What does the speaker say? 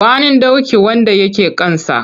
Gwanin doki wanda ya ke kansa.